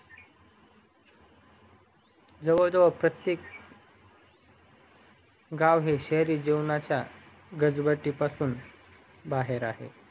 जवळजवळ प्रतेक गाव हे शहरी जीवनाच्या गजबजीपासून बाहेर आहे